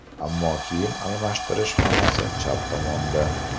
Ammo kiyim almashtirish xonasi chap tomonda.